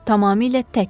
Tamamilə tək.